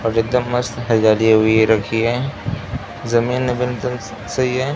और एक दम मस्त हुई रखी है जमीन वमीन सब सही है।